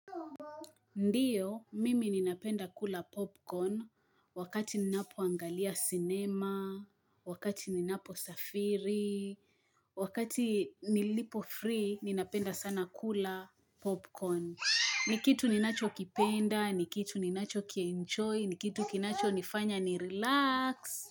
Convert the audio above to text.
Ndiyo, mimi ninapenda kula popcorn wakati ninapoangalia cinema, wakati ninaposafiri, wakati nilipo free ninapenda sana kula popcorn. Ni kitu ninachokipenda, ni kitu ninacho kienjoy, ni kitu kinachonifanya ni relax.